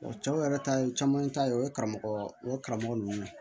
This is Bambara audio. O cɛw yɛrɛ ta ye caman ta ye o ye karamɔgɔ o karamɔgɔ ninnu